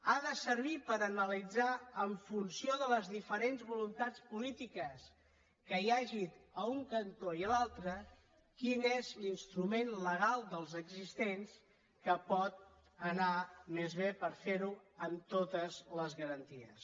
ha de servir per analitzar en funció de les diferents voluntats polítiques que hi hagin a un cantó i a l’altre quin és l’instrument legal dels existents que pot anar més bé per fer ho amb totes les garanties